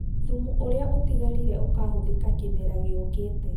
Thumu ũrĩa ũtigarire ũkahũthĩka kĩmera gĩũkĩte